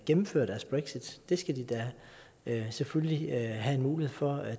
gennemføre deres brexit det skal de da selvfølgelig have en mulighed for at